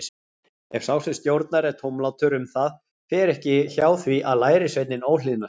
Ef sá sem stórnar er tómlátur um það, fer ekki hjá því að lærisveinninn óhlýðnist.